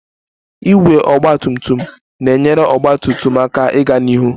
Igwe ọgba tum tum na-enyere ọgba tum tum aka ịga n'ihu